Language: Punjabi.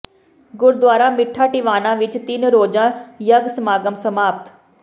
ਗੁਰਦੁਆਰਾ ਮਿੱਠਾ ਟਿਵਾਣਾ ਵਿੱਚ ਤਿੰਨ ਰੋਜ਼ਾ ਯੱਗ ਸਮਾਗਮ ਸਮਾਪਤ